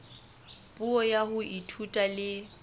puo ya ho ithuta le